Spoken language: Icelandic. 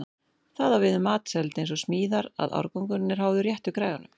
Það á við um matseld eins og smíðar að árangurinn er háður réttu græjunum.